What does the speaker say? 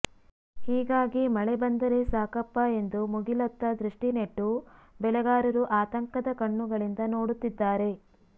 ಹೀಗಾಗಿ ಮಳೆ ಬಂದರೆ ಸಾಕಪ್ಪಾ ಎಂದು ಮುಗಿಲತ್ತ ದೃಷ್ಠಿ ನೆಟ್ಟು ಬೆಳೆಗಾರರು ಆತಂಕದ ಕಣ್ಣುಗಳಿಂದ ನೋಡುತ್ತಿದ್ದಾರೆ